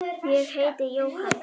Ég heiti Jóhann.